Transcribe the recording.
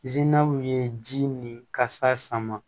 ye ji ni kasa sama